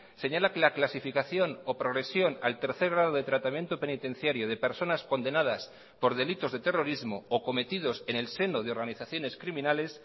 señala que la clasificación o progresión al tercer grado de tratamiento penitenciario de personas condenadas por delitos de terrorismo o cometidos en el seno de organizaciones criminales